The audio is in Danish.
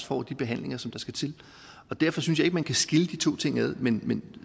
får de behandlinger der skal til derfor synes jeg man kan skille de to ting ad men